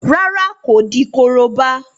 Rárá, kò di korobá.